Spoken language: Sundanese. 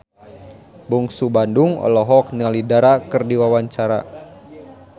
Bungsu Bandung olohok ningali Dara keur diwawancara